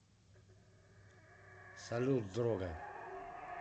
салют дрога